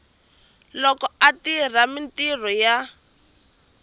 loko a tirha mintirho ya